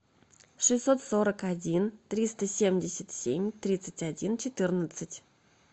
шестьсот сорок один триста семьдесят семь тридцать один четырнадцать